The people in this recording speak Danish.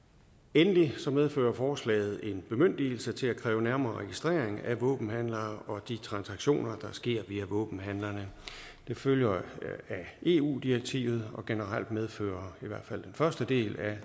endelig medfører forslaget en bemyndigelse til at kræve en nærmere registrering af våbenhandlere og de transaktioner der sker via våbenhandlerne det følger af eu direktivet og generelt medfører jo i hvert fald den første del af